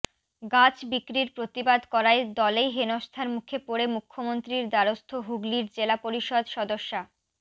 গাছ বিক্রির প্রতিবাদ করায় দলেই হেনস্থার মুখে পড়ে মুখ্যমন্ত্রীর দ্বারস্থ হুগলির জেলা পরিষদ সদস্যা